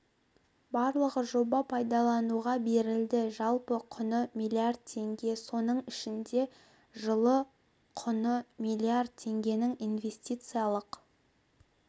барлығы жоба пайдалануға берілді жалпы құны миллиард теңге соның ішінде жылы құны миллиард теңгенің инвестициялық